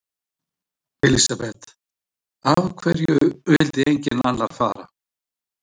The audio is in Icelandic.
Elísabet: Af hverju vildi enginn annar fara?